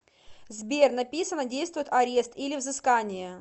сбер написано действует арест или взыскание